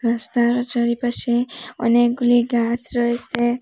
রাস্তারও চারিপাশে অনেকগুলি গাস রয়েসে।